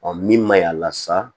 min ma ɲi a la sa